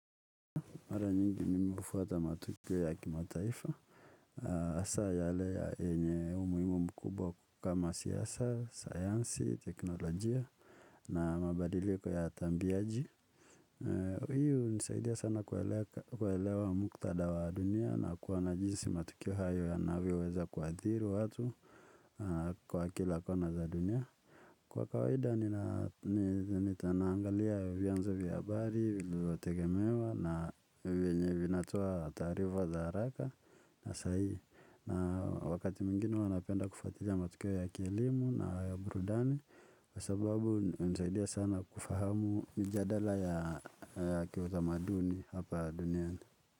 Mara nyingi mimi hufuata matokeo ya kimataifa haswa yale yenye umuhimu mkubwa kama siasa sayansi teknolojia na mabadiliko ya tambiaji. Hii hunisaidia sana kuelewa mkutadha wa dunia na kuwana jinsi matukio hayo yanavyoweza kuathiri watu kwa kila kona za dunia. Kwa kawaida niko naangalia vianzo vya habari vinavyotegemewa na vyenye vinatoa taarifa za haraka na sahii, na wakati mwingine huwa napenda kufuatilia matokeo ya kielimu na ya burudani. Kwa sababu, nisaidia sana kufahamu mjadala ya kiutamaduni hapa duniani.